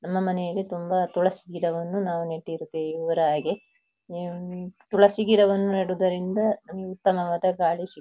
ನಮ್ಮನೆಯಲ್ಲಿ ತುಂಬ ತುಳಸಿ ಗಿಡವನ್ನು ನಾವು ನೆಟ್ಟಿರುತ್ತೇವೆ ಇವರ ಹಾಗೆ ಆಂ ತುಳಸಿ ಗಿಡವನ್ನು ನೆಡುವುದರಿಂದ ಉತ್ತಮವಾದ ಗಾಳಿ ಸಿ--